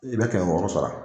I bɛ kɛmɛ wɔrɔ sara